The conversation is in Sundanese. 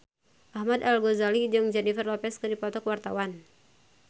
Ahmad Al-Ghazali jeung Jennifer Lopez keur dipoto ku wartawan